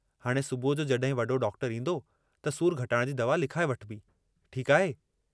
हाणे सुबुह जो जहिं वडो डाक्टरु ईन्दो त सूर घटाइण जी दवा लिखाए वठिबी, ठीक आहे।